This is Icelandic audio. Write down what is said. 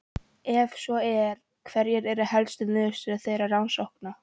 Ef svo er, hverjar eru helstu niðurstöður þeirra rannsókna?